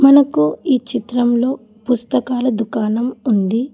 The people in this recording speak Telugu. మనకు ఈ చిత్రంలో పుస్తకాల దుకాణం ఉంది